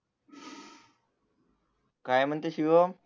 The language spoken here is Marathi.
काय म्हणते शिवम